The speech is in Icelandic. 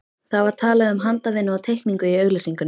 Það var talað um handavinnu og teikningu í auglýsingunni.